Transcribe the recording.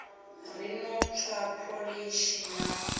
ri no tswa pholishi na